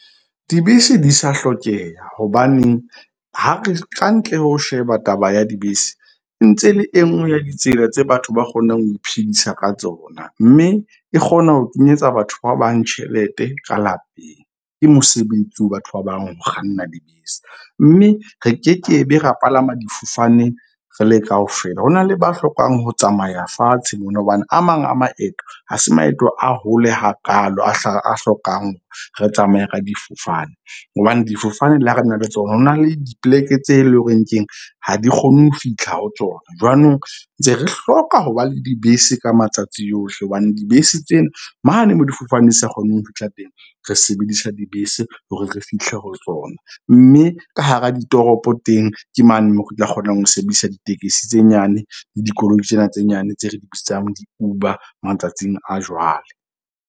Dibese di sa hlokeha hobaneng ha re kantle ho sheba taba ya dibese ntse le e nngwe ya ditsela tse batho ba kgonang ho iphedisa ka tsona. Mme e kgona ho kenyetsa batho ba bang tjhelete ka lapeng. Ke mosebetsi ho batho ba bang, ho kganna dibese. Mme re ke ke be ra palama difofane re le kaofela, ho na le ba hlokang ho tsamaya fatshe mona. Hobane a mang a maeto ha se maeto a hole hakaalo, a hlokang re tsamaye ka difofane. Hobane difofane le ha re na le tsona, ho na le dipoleke tse leng hore keng ha di kgone ho fihla ho tsona. Jwanong ntse re hloka ho ba le dibese ka matsatsi yohle. Hobane dibese tsena mane mo difofane di sa kgoneng ho fihla teng, re sebedisa dibese hore re fihle ho tsona. Mme ka hara ditoropo teng ke mane moo re tla kgonang ho sebedisa ditekesi tse nyane le dikoloi tsena tse nyane tse re di bitsang di-Uber matsatsing a jwale.